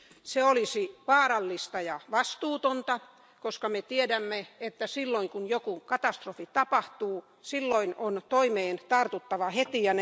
Se olisi vaarallista ja vastuutonta, koska me tiedämme, että silloin kun joku katastrofi tapahtuu, toimeen on tartuttava heti.